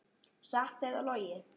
Satt eða logið.